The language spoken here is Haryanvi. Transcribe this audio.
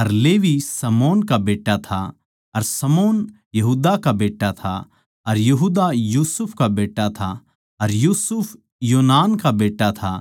अर लेवी शमौन का बेट्टा था अर शमौन यहूदा का बेट्टा था अर यहूदा यूसुफ का बेट्टा था अर यूसुफ योनान का बेट्टा था